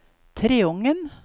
Treungen